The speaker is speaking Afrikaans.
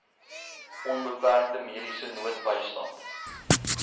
onbeperkte mediese noodbystand